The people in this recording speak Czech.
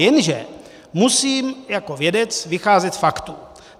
Jenže musím jako vědec vycházet z faktů.